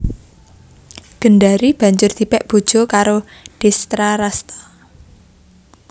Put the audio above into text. Gendari banjur dipèk bojo karo Destrarasta